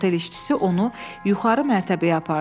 Hotel işçisi onu yuxarı mərtəbəyə apardı.